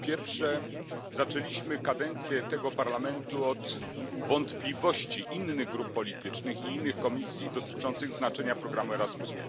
Po pierwsze, zaczęliśmy kadencję tego Parlamentu od wątpliwości innych grup politycznych i innych komisji dotyczących znaczenia programu Erasmus.